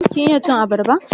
Kin iya cin abarba?